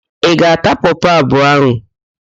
Ị ga-ata pọpọ abụọ ahụ?